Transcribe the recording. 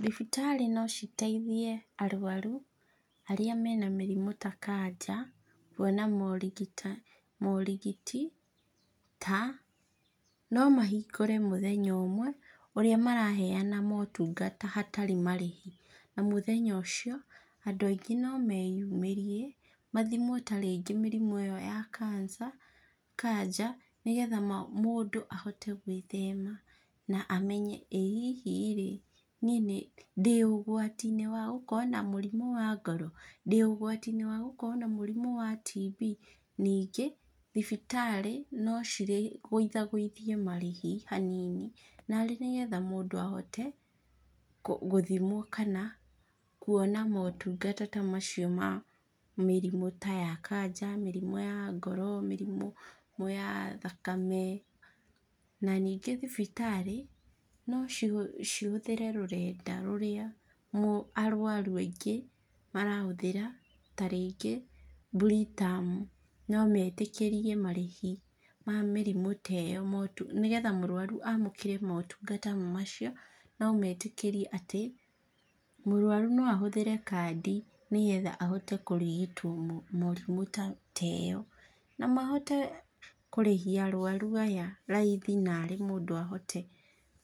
Thibitarĩ no citeithie arwaru, arĩa mena mĩrimũ ta kanja, kuona morigiti ta, no mahingũre mũthenya ũmwe, ũrĩa maraheana motungata hatarĩ marĩhi, na mũthenya ũcio, andũ aingĩ no meyumĩrie, mathimwo tarĩngĩ mĩrimũ ĩyo ya cancer kanja, nĩgetha mũndũ ahote gwĩthema, na amenye ĩ hihi rĩ, niĩ nĩndĩ ũgwatinĩ wa gũkorwo na mũrimũ wa ngoro, ndĩ ũgwatinĩ wagũkorwo na mũrimũ wa TB, ningĩ, thibitarĩ, no ciguithaguithie marĩhi hanini, narĩ nĩgetha mũndũ ahote, kũ gũthimwo kana, kuona motungata ta macio ma mĩrimũ ta ya kanja, mĩrimũ ya ngoro, mĩrimũ ya thakame, na ningĩ thibitarĩ, no ci cihũthĩre rũrenda rũrĩa arwaru aingĩ, marahũthĩra, ta ringĩ Britam, no metĩkĩrĩrie marĩhi ma mĩrimũ ta ĩyo nĩgetha mũrwaru amũkĩre motungata macio, no metĩkĩrie atĩ, mũrwaru no ahũthĩre kandi nĩgetha ahote kũrigitwo mũrimũ ta teyo. Namahote kũrĩhia arwaru aya raithi narĩ mũndũ ahote